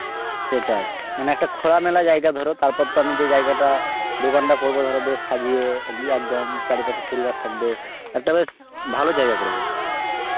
সেটাই মানে একটা খোলামেলা জায়গা ধরো, তারপর তো আমি যে জায়গাটা দোকানটা করব ধরো বেশ সাজিয়ে গু~ আঁ একদম, চারিপাশে ফুল গাছ থাকবে, একটা বেশ ভালো জায়গা করব.